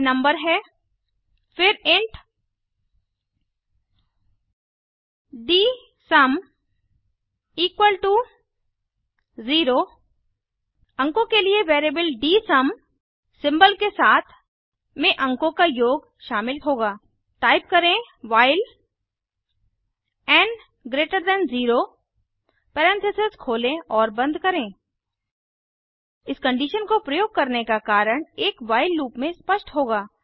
यह नम्बर है फिर इंट डीएसयूम इक्वल टू 0 अंकों के लिए वैरिएबल डीएसयूम सिंबल के साथ में अंकों का योग शामिल होगा टाइप करें while n greater than 0 parenthesis खोलें और बंद करें इस कंडीशन को प्रयोग करने का कारण एक व्हाइल लूप में स्पष्ट होगा